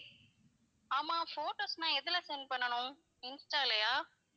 ஆமா photos நான் எதுல send பண்ணனும் insta லயா?